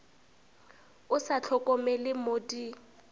o sa hlokomele mo di